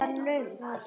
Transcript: Hættu þessu